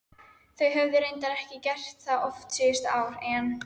Þau höfðu reyndar ekki gert það oft síðustu ár en